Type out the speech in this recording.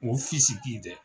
O dɛ.